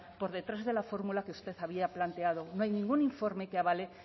por detrás de la fórmula que usted había planteado no hay ningún informe que avale